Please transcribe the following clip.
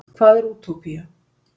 Hvað er útópía?